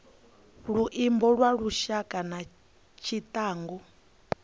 luimbo lwa lushaka na tshiangu